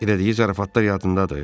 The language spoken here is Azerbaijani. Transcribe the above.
Elədiyi zarafatlar yadındadır?